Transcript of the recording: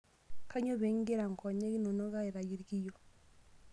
Kanyoo pee egira nkonyek inonok aitayu irkiyo?